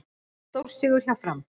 Stórsigur hjá Fram